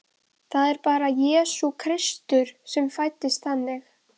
Það er bara Jesú Kristur sem fæddist þannig!